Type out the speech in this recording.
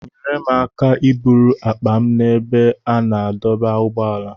Nyere m aka iburu akpa m n'ebe a na-adọba ụgbọala.